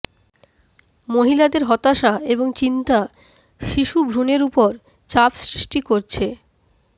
মহিলাদের হতাশা এবং চিন্তা শিশুভ্রুণের উপর চাপ সৃষ্টি করছে